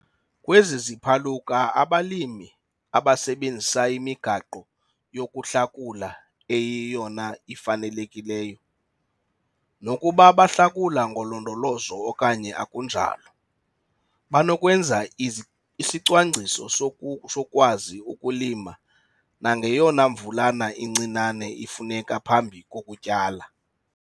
Kwezi ziphaluka abalimi, abasebenzisa imigaqo yokuhlakula eyiyona ifanelekileyo, nokuba bahlakula ngolondolozo okanye akunjalo, banokwenza isicwangciso sokukwazi ukulima nangeyona mvulana incinane ifuneka phambi kokutyala.